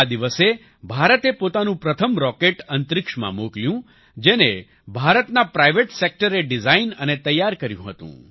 આ દિવસે ભારતે પોતાનું પ્રથમ રોકેટ અંતરિક્ષમાં મોકલ્યું જેને ભારતના પ્રાઈવેટ સેક્ટરે ડિઝાઈન અને તૈયાર કર્યું હતું